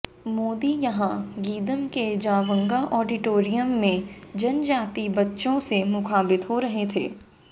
मोदी यहां गीदम के जावंगा ऑडिटोरियम में जनजातीय बच्चों से मुखातिब हो रहे थे